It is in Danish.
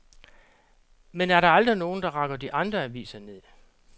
Men er der aldrig nogen, der rakker de andre aviser ned.